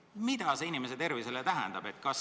Mida see inimese tervisele tähendab?